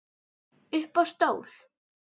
Upp á stól